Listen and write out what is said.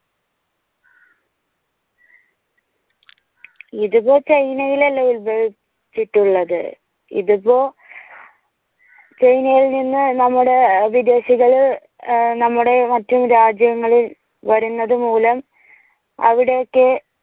ഇതിപ്പോ china അല്ലേ ഉത്ഭവിച്ചിട്ടുള്ളത്. ഇതിപ്പോ china നിന്ന് നമ്മുടെ വിദേശികള് നമ്മുടെ മറ്റും രാജ്യങ്ങളിൽ വരുന്നതുമൂലം അവിടെയൊക്കെ